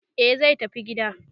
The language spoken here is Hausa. e zai tafi gida